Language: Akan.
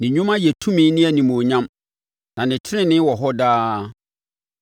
Ne nnwuma yɛ tumi ne animuonyam, na ne tenenee wɔ hɔ daa.